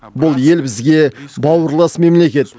бұл ел бізге бауырлас мемлекет